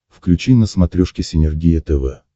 включи на смотрешке синергия тв